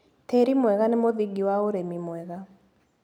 Tĩri mwega nĩ mũthingi wa ũrĩmi mwega.